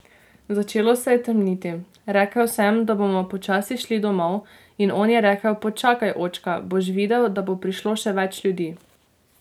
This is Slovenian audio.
Začelo se je temniti, rekel sem, da bomo počasi šli domov, in on je rekel, počakaj, očka, boš videl, da bo prišlo še več ljudi.